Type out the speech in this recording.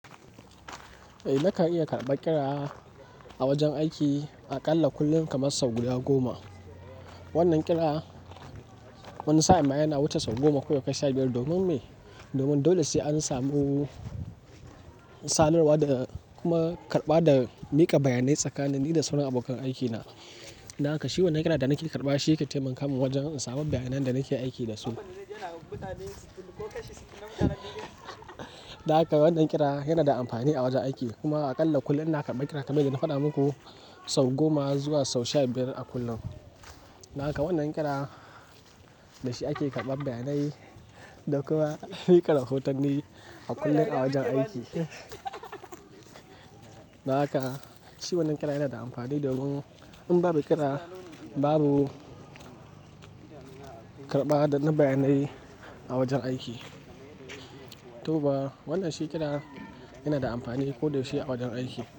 Eh, nakan iya karɓar kira a wajen aiki aƙalla kullum kaman sau guda goma. Wannan kira wani sa'in ma yana wuce sau goma ko ya kai sha biyar domin mai, domin dole sai an samu sanarwa da kuma karɓa da miƙa bayanai tsakanin ni da sauran abokan aikina. Don haka shi wannan kira da nake karɓawa shi yake taimaka min wajen in samu bayanan da nake aiki da su. Don haka wannan kira yana da amfani a wajen aiki kuma aƙalla kullum ina karɓa kira kamar yanda na faɗa maku, sau goma zuwa sau sha biyar a kullum. Don haka wannan kira da shi ake karɓar bayanai da kuma miƙa rahotanni a kullum a wajen aiki. Don haka shi wannan kira yana da amfani domin in babu kira babu karɓa da na bayanai a wajen aiki. To ba wannan shi kira yana da amfani ko da yaushe a wajen aiki.